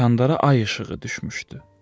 Kandara ay işığı düşmüşdü.